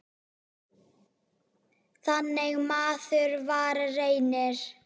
Þannig maður var Reynir.